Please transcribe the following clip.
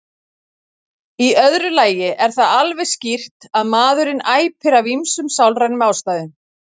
Í öðru lagi er það alveg skýrt að maðurinn æpir af ýmsum sálrænum ástæðum.